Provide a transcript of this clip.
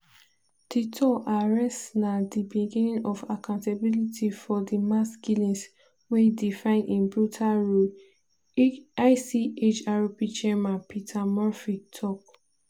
"duterte arrest na di beginning of accountability for di mass killings wey define im brutal rule" ichrp chairman peter murphy tok.